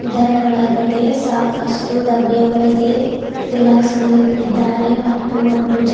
ಇದರ ಒಳಗಡೆ ಸಾಕಷ್ಟು ಡಬ್ಬಿಯ ಒಳಗೆ ತಿಲಾಕ್ಸಳು ಇಕ್ಕಿದಾರೆ ಮತ್ತು ಒಂದು ಜ --